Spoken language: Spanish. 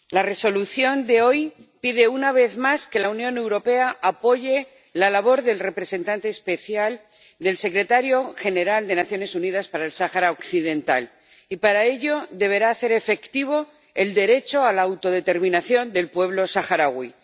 Señora presidenta, la Resolución de hoy pide una vez más que la Unión Europea apoye la labor del representante especial del secretario general de Naciones Unidas para el Sáhara Occidental y, para ello, deberá hacer efectivo el derecho a la autodeterminación del pueblo saharaui.